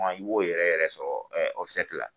I b'o yɛrɛ yɛrɛ sɔrɔ la.